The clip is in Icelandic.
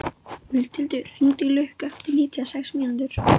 Mundhildur, hringdu í Lukku eftir níutíu og sex mínútur.